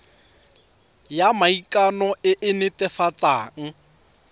ya maikano e e netefatsang